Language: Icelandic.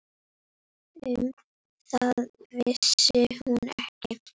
Um það vissi hún ekki.